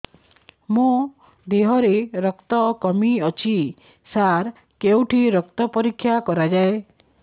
ମୋ ଦିହରେ ରକ୍ତ କମି ଅଛି ସାର କେଉଁଠି ରକ୍ତ ପରୀକ୍ଷା କରାଯାଏ